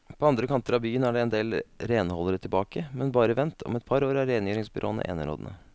På andre kanter av byen er det endel renholdere tilbake, men bare vent, om et par år er rengjøringsbyråene enerådende.